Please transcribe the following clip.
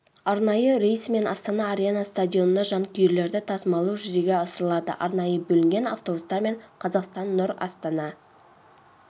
арнайы рейсімен астана арена стадионына жанкүйерлерді тасмалдау жүзеге асырылады арнайы бөлінген автобустармен қазақстан нұр астана